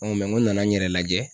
n nana n yɛrɛ lajɛ